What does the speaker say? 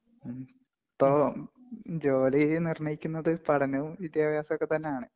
ജോലി നിര്‍ണ്ണയിക്കുന്നത് പഠനവും, വിദ്യാഭ്യാസവും തന്നെയാണ്.